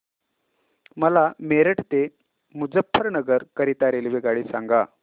मला मेरठ ते मुजफ्फरनगर करीता रेल्वेगाडी सांगा